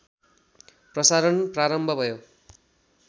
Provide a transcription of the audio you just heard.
प्रसारण प्रारम्भ भयो